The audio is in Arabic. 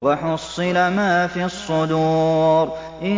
وَحُصِّلَ مَا فِي الصُّدُورِ